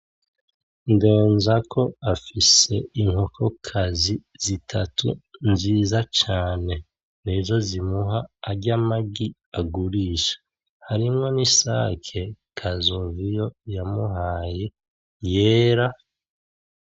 Ndenzako afise inkoko kazi zitatu nziza cane, nizo zimuha arya magi agurisha. Harimwo n'isake Kazoviyo yamuhaye yera.